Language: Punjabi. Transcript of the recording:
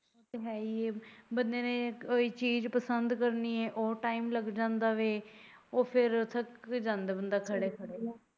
ਏਹ ਤਾਂ ਹੈ ਈ ਐ ਬੰਦੇ ਨੇ ਕੋਈ ਚੀਜ ਪਸੰਦ ਕਰਨੀ ਆ ਉਹ time ਲੱਗ ਜਾਂਦਾ ਐ ਉਹ ਫੇਰ ਥੱਕ ਜਾਂਦਾ ਖੜੇ ਖੜੇ।